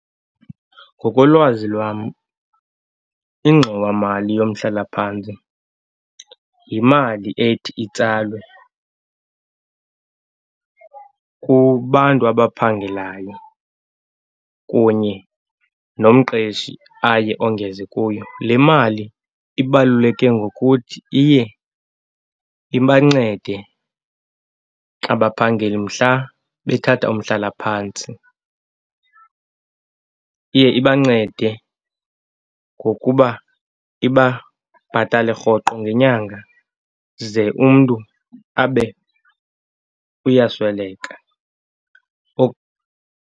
Ngokolwazi lwam ingxowamali yomhlalaphantsi yimali ethi itsalwe kubantu abaphangelayo kunye nomqeshi aye ongeze kuyo. Le mali ibaluleke ngokuthi iye ibancede abaphangeli mhla bethatha umhlalaphantsi. Iye ibancede ngokuba ibabhatale rhoqo ngenyanga ze umntu abe uyasweleka .